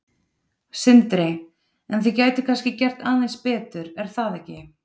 Sindri: En þið gætuð kannski gert aðeins betur er það ekki?